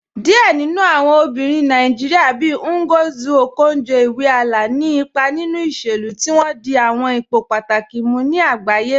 Diẹ̀ nínu awọn obìnrin Nàìjíríà, bíì Ngozi Okonjo-Iweala, ní ìpà nínu ìṣẹ̀lú, tí wọn dì àwọn ìpò pátàkì ní àgbàyé.